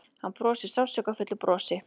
Hann brosir sársaukafullu brosi.